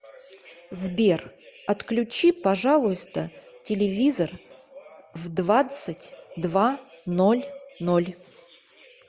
сбер отключи пожалуйста телевизор в двадцать два ноль ноль